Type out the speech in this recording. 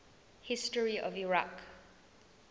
history of iraq